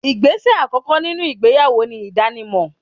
Igbese àkókò nínú ìgbéyàwó ni idanimo